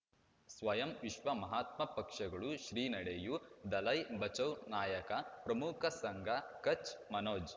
ಸ್ವಯಂ ವಿಶ್ವ ಮಹಾತ್ಮ ಪಕ್ಷಗಳು ಶ್ರೀ ನಡೆಯೂ ದಲೈ ಬಚೌ ನಾಯಕ ಪ್ರಮುಖ ಸಂಘ ಕಚ್ ಮನೋಜ್